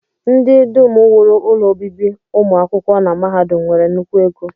Ndị dum wuru ụlọ obibi ụmụ akwụkwọ na mahadum nwere nnukwu ego